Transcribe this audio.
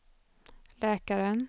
läkaren